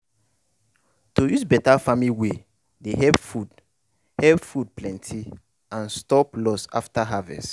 to use better farming way dey help food help food plenty and stop loss after harvest.